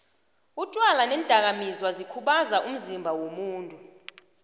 utjwala neendaka mizwa zikhubaza umzimba womuntu